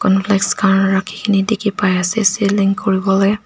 cornflakes khan rakhikae na dikhipaiase selling kuriwolae.